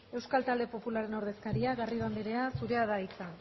euskal talde popularraren ordezkaria garrido anderea zurea da hitza